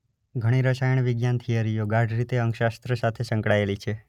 ઘણી રસાયણ વિજ્ઞાન થિયરીઓ ગાઢ રીતે અંકશાસ્ત્ર સાથે સકળાયેલી છે.